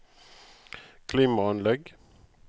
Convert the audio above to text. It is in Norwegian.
klimaanlegg